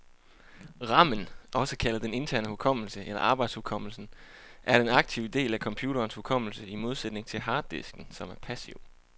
Ramen, også kaldet den interne hukommelse eller arbejdshukommelsen, er den aktive del af computerens hukommelse, i modsætning til harddisken, som er passiv.